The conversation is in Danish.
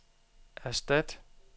erstat